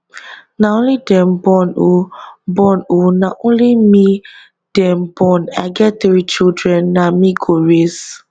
na only dem born oh born oh na only me dem born i get three children na me go raise